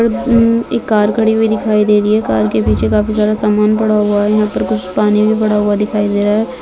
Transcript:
अम--एक car खड़ी हुई दिखाई दे रही है कार के पीछे काफी सारा सामान पड़ा हुआ है यहां पर कुछ पानी भी पड़ा हुआ दिखाई दे रहा है।